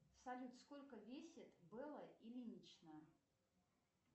салют сколько весит белла ильинична